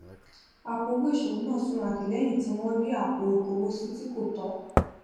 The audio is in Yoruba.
àpò owó ìṣòwò náà súnrakì lẹyìn tí wọn rí àpò ìkówó sí tí kò tọ